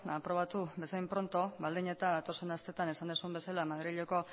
eta aprobatu bezain pronto baldin eta datozen asteetan esan duzun bezala madrileko